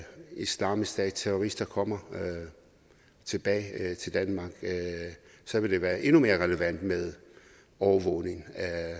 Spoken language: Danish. islamisk stat terrorister kommer tilbage til danmark så vil det være endnu mere relevant med overvågning